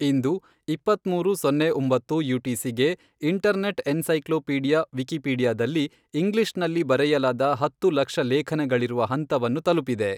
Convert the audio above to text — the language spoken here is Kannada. ಇಂದು, ಇಪ್ಪತ್ತ್ಮೂರು:ಸೋನ್ನೆ ಒಂಬತ್ತು ಯು.ಟಿ.ಸಿ ಗೆ, ಇಂಟರ್ನೆಟ್ ಎನ್ಸೈಕ್ಲೋಪೀಡಿಯಾ ವಿಕಿಪೀಡಿಯಾದಲ್ಲಿ ಇಂಗ್ಲಿಷ್ನಲ್ಲಿ ಬರೆಯಲಾದ ಹತ್ತು ಲಕ್ಷ ಲೇಖನಗಳಿರುವ ಹಂತವನ್ನು ತಲುಪಿದೆ.